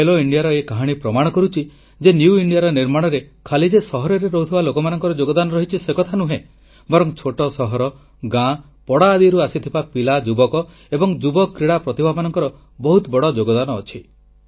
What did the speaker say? ଖେଲୋ ଇଣ୍ଡିଆର ଏ କାହାଣୀ ପ୍ରମାଣ କରୁଛି ଯେ ନିଉ ଇଣ୍ଡିଆର ନିର୍ମାଣରେ ଖାଲି ଯେ ସହରରେ ରହୁଥିବା ଲୋକମାନଙ୍କର ଯୋଗଦାନ ରହିଛି ସେ କଥା ନୁହେଁ ବରଂ ଛୋଟ ସହର ଗାଁ ପଡ଼ା ଆଦିରୁ ଆସୁଥିବା ପିଲା ଯୁବକ ଏବଂ ଯୁବ କ୍ରୀଡ଼ା ପ୍ରତିଭାମାନଙ୍କର ବହୁତ ବଡ଼ ଯୋଗଦାନ ଅଛି